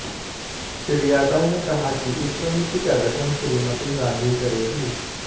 श्री यादव ने कहा कि इस समिति का गठन श्रीमती गांधी करेंगी